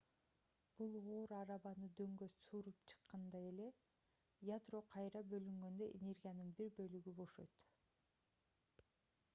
бул оор арабаны дөңгө сүрүп чыккандай эле ядро кайра бөлүнгөндө энергиянын бир бөлүгү бошойт